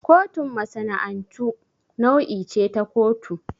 Kotun masana'antu nau'i ce ta kotu.